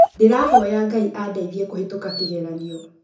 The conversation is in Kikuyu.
Ndĩrahoya Ngai andĩthiĩ kũhĩtuka kĩgeranio